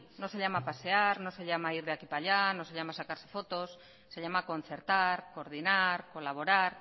no se llama pasear no se llama ir de aquí para allá no se llama sacarse fotos se llama concertar coordinar colaborar